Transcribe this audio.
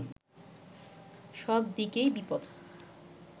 সব দিকেই বিপদ